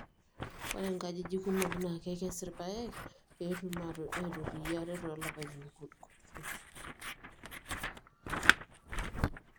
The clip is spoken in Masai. ore inkajijik kumok naa keiskes irpaek pee etum aitotiyie ate too lapaitin kutik